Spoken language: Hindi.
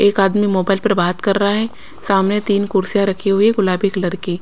एक आदमी मोबाइल पर बात कर रहा है सामने तीन कुर्सियां रखी हुई है गुलाबी कलर की।